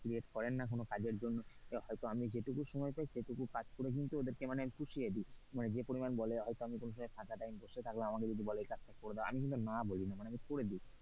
create করেন না কোনো কাজের জন্য, হয়তো আমি যেইটুকু সময় পাই সেইটুকু কাজ করে কিন্তু ওদেরকে পুষিয়ে দি, মানে যে পরিমান বলে হয়তো আমি কোন সময় ফাঁকা time বসে থাকলাম আমাকে যদি বলে এই কাজটা করে দাও আমি কিন্তু না বলি না, মানে আমি করে দি।